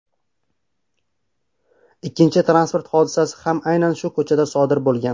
Ikkinchi transport hodisasi ham aynan shu ko‘chada sodir bo‘lgan.